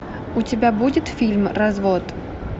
у тебя будет фильм развод